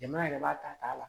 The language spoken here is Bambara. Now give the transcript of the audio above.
Jama yɛrɛ b'a ta t'a la